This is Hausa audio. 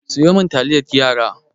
Sayo min taliyar yara!